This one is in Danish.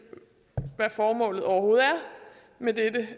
hvad formålet overhovedet er med dette